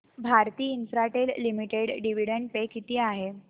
Bharti Infratel limited dividend पे किती आहे